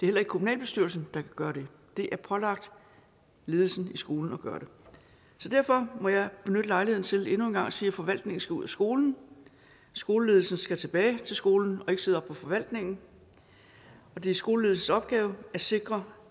heller ikke kommunalbestyrelsen der kan gøre det det er pålagt ledelsen i skolen at gøre det så derfor må jeg benytte lejligheden til endnu en gang at sige at forvaltningen skal ud af skolen skoleledelsen skal tilbage til skolen og ikke sidde oppe på forvaltningen og det er skoleledelsens opgave at sikre